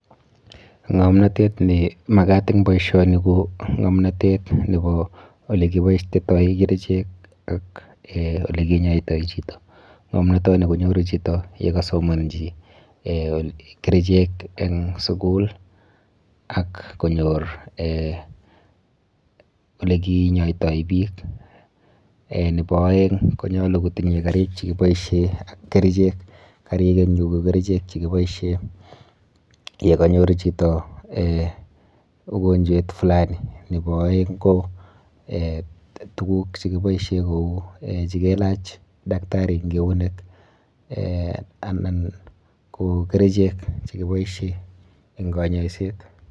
Ng'omnotet ne makat eng boisioni ko ng'omnotet nebo ole kiboistetoi kerichek ak um olekinyoitoi chito, ng'omnotoni konyoru chito ye kasomanchi um kerichek eng sukul ak konyor olekinyoitoi piik, nebo aeng konyolu kotinyei karik chi kiboisie ak kerichek, karik eng yu ko kerichek che kiboisie, ye kanyor chito um ugonjwet fulani, nebo aeng ko tukuk che kiboisie kou che kelach daktari eng eunek um anan ko kerichek che kiboisie eng konyoiset.